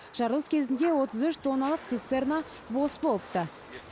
жарылыс кезінде отыз үш тонналық цистерна бос болыпты